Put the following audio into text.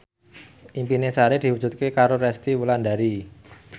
impine Sari diwujudke karo Resty Wulandari